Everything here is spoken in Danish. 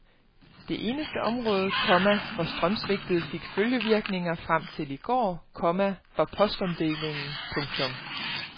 Det eneste område, komma hvor strømsvigtet fik følgevirkninger frem til i går, komma var postomdelingen. punktum